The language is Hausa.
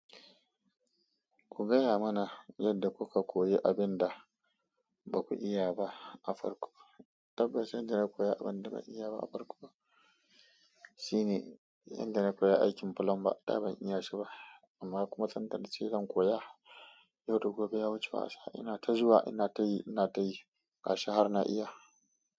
Ku gaya mana yadda kuka koyi abin da baku iya ba a farko. Tabbas, inda na koya abin da ban iya ba a farko ba shi ne yanda na koya aikin bulamba. Da ban iya shi ba amma kuma sanda na ce zan koya. Yau da gobe ya wuce wasa ina ta zuwa ina ta yi ina ta yi ga shi har na iya.